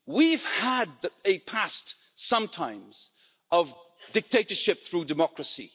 We've had a past sometimes of dictatorship through democracy.